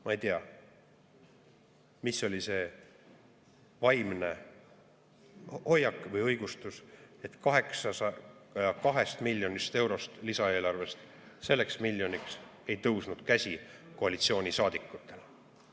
Ma ei tea, mis oli see vaimne hoiak või õigustus, et 802 miljonist eurost lisaeelarvest selleks miljoniks ei tõusnud käsi koalitsioonisaadikutel.